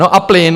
No a plyn.